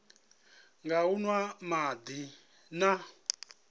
nga u nwa madi na